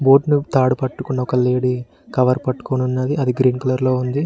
బోట్ను తాడు పట్టుకున్న ఒక లేడీ కవర్ పట్టుకొని ఉన్నది అది గ్రీన్ కలర్ లో ఉంది.